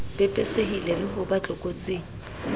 pepesehile le ho ba tlokotsing